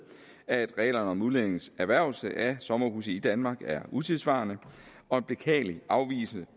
at reglerne om udlændinges erhvervelse af sommerhuse i danmark er utidssvarende og en beklagelig afvigelse